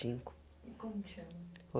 e cinco. E como que chama?